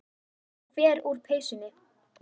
Ég fer úr peysunni.